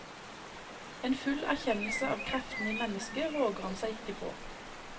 En full er kjennelse av kreftene i mennesket våger han seg ikke på.